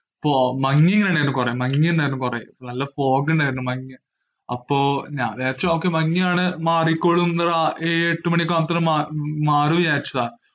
മഞ്ഞു വീണായിരുന്നു കുറെ. മഞ്ഞു ഉണ്ടായിരുന്നു കുറെ. നല്ല fog ഉണ്ടായിരുന്നു. അപ്പോൾ ഞാൻ വിചാരിച്ചു ok മഞ്ഞാണ്‌ മാറിക്കോളും, ഏഴു എട്ടു മാണി ഒക്കെ ആവുമ്പോഴേക്കും മാറും എന്ന് വിചാരിച്ചതാ.